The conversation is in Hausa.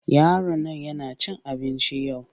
Yaron nan yana cin abinci yau.